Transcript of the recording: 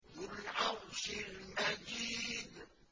ذُو الْعَرْشِ الْمَجِيدُ